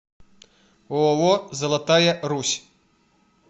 ооо золотая русь